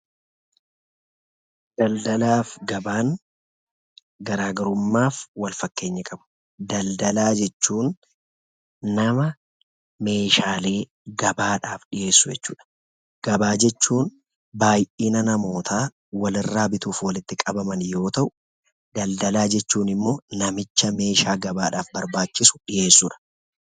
Daldalaaf gabaan garaagarummaf wal-fakkeenya qabu. daldalaa jechuun nama messhaalee gabaadhaf dhi'eessu jechuudha. gabaa jechuun baay'ina namoota walirraa bituudhaf walitti qabaman yoo ta'u, daldalaa jechuun immo namicha meeshaa gabaadhaf barbaachisuu dhi'eessudha.